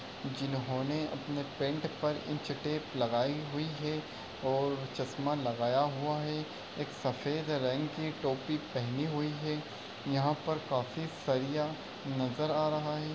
जिन्होंने अपने पेन्ट पर इंच टेप लगायी हुई है और चश्मा लगाया हुआ है। एक सफेद रंग की टोपी पहनी हुई है। यहाँ पर काफी सरिया नज़र आ रहा है।